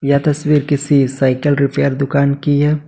यह तस्वीर किसी साइकिल रिपेयर दुकान की है।